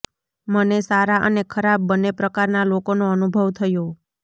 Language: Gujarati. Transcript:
મને સારા અને ખરાબ બન્ને પ્રકારના લોકોનો અનુભવ થયો